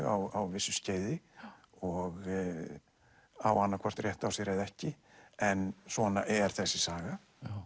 á vissu skeiði og á annað hvort rétt á sér eða ekki en svona er þessi saga